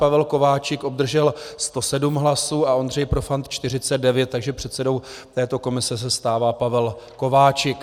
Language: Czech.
Pavel Kováčik obdržel 107 hlasů a Ondřej Profant 49, takže předsedou této komise se stává Pavel Kováčik.